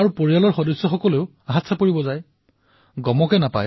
আৰু পৰিয়ালৰ লোকেও যাদু চোৱাৰ দৰে হাততালিৰে সমৰ্থন কৰে